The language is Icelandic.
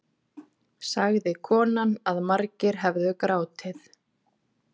Sagði konan að margir hefðu grátið